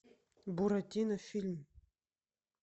буратино фильм